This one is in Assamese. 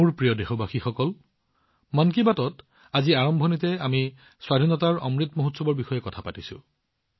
মোৰ মৰমৰ দেশবাসীসকল মন কী বাতত আজি আৰম্ভণিতে আমি স্বাধীনতাৰ অমৃত মহোৎসৱৰ বিষয়ে কথা পাতিছো